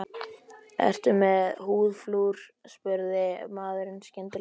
Ertu með húðflúr? spurði maðurinn skyndilega.